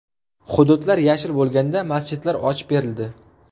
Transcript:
Hududlar yashil bo‘lganda masjidlar ochib berildi.